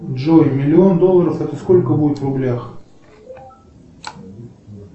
джой миллион долларов это сколько будет в рублях